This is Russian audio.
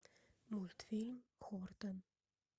мультфильм хортон